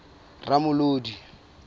ramolodi